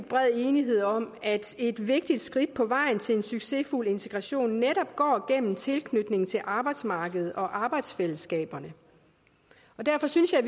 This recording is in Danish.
bred enighed om at et vigtigt skridt på vejen til en succesfuld integration netop går gennem tilknytning til arbejdsmarkedet og arbejdsfællesskaberne derfor synes jeg